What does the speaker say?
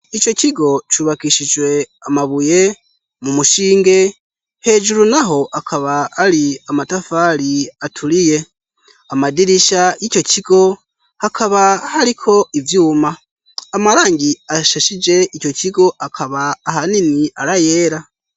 Icyo kigo cubakishijwe amabuye mu mushinge ,h'ejuru naho akaba ari amatafari aturiye, amadirisha y'ico kigo hakaba hariko ivyuma ,amarangi asheshije ico kigo akaba ahanini ar'ayera.